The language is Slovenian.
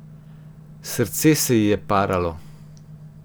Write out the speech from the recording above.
Srce se ji je paralo.